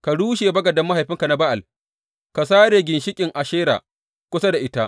Ka rushe bagaden mahaifinka na Ba’al ka sare ginshiƙin Ashera kusa da ita.